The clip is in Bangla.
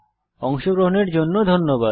অংশগ্রহনের জন্য ধন্যবাদ